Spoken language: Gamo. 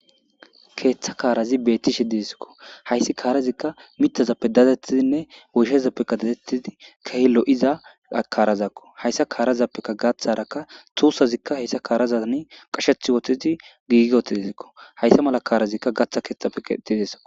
keeththa kaarazi beetti shidieskko hayssi kaarazikka mitazappe datettidinne woyshezappeka datettidi kehe lo7iza karazakko hayssa kaarazappeka gaaththarakka tuussazikka hayssa kaarazani qashethi wohthidi giigi wotidizikko hayssa mala kaarazikka gaththa keeththappe etideso